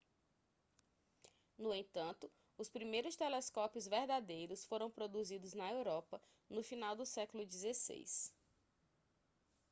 no entanto os primeiros telescópios verdadeiros foram produzidos na europa no final do século xvi